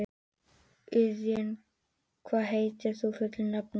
Eiðunn, hvað heitir þú fullu nafni?